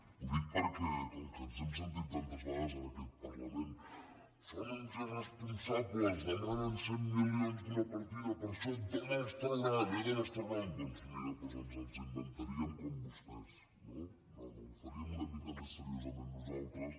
ho dic perquè com que ens hem sentit tantes vegades en aquest parlament són uns irresponsables demanen cent milions d’una partida per a això d’on els trauran eh d’on els trauran doncs mira ens els inventaríem com vostès no no ho faríem una mica més seriosament nosaltres